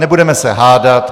Nebudeme se hádat.